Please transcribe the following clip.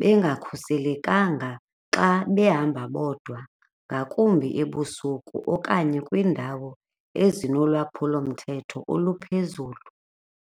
bengakhuselekanga xa behamba bodwa ngakumbi ebusuku okanye kwindawo ezinolwaphulomthetho oluphezulu.